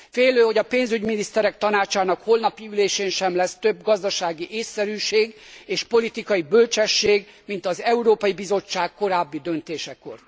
Félő, hogy a pénzügyminiszterek tanácsának holnapi ülésén sem lesz több gazdasági ésszerűség és politikai bölcsesség, mint az Európai Bizottság korábbi döntésekor.